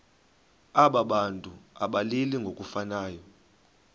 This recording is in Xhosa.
abantu abalili ngokufanayo